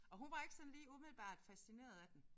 Og hun var ikke sådan lige umiddelbart fascineret af den